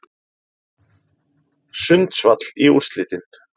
Sundsvall í úrslitin